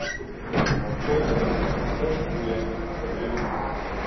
waarvolgens terugvloeiing verhoed